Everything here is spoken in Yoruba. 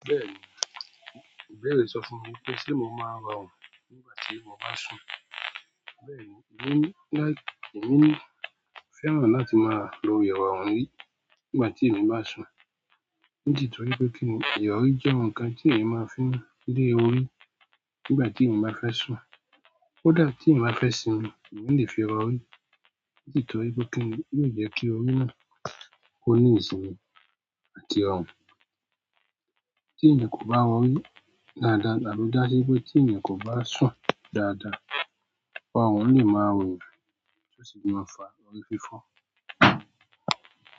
Bẹ́ẹ̀ni, ìbẹ̀rẹ̀ sọ fún mi pé ṣe mo máa ro run nígbà tí mo bá sùn. Bẹ́ẹ̀ni, èmi ní, láì, èmi fẹ́ràn láti máa lo iro rí nígbà tí èmi bá sùn. Nítorí pé kí ni irori jẹ́ ǹkan tí èmi máa ń fi lé orí nígbà tí èmi bá fẹ́ sùn. Ó dà tí èmi bá fẹ́ sùn, èmi lè fi ro orí. Nítorí pé kíì ni, yóò jẹ́ kí orí náà ko ní ìsinmi àti ọ̀run. Tí èmi kò bá ro orí dáadáa, àbí ja sí wípé tí èmi kò bá sùn dáadáa, orun lè máa ro eyan, tí ó sì máa ń fa orí fífọ́.